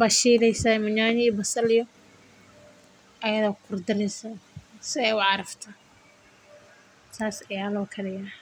basal iyo nyanya ayaa lagu daraa waa lashiila saas ayaa loo kariyaa.